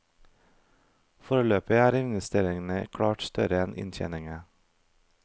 Foreløpig er investeringene klart større enn inntjeningen.